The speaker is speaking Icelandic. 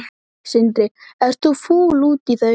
Sindri: Ert þú fúll út í þau?